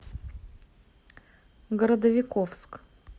городовиковск